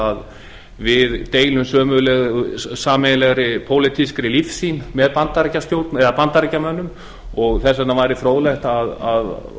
að við deilum sameiginlegri pólitískri lífsýn með bandaríkjamönnum og þess vegna væri fróðlegt að